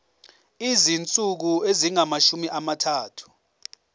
izinsuku ezingamashumi amathathu